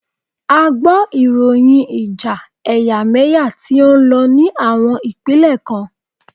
A gbọ ìròyìn ìjà ẹ̀yàmẹ́yà tí o ń lọ ní àwọn ìpínlẹ̀ kan.